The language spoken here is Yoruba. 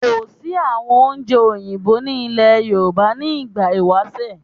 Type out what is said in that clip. Kò sí àwọn oúnjẹ Òyìnbó ní ìlẹ̀ Yorùbá ní ìgbà ìwásẹ̀